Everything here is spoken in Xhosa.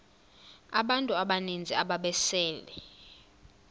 abantu abaninzi ababesele